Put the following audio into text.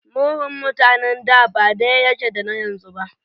Murhun mutanen da ba daya yake da na yanzu ba.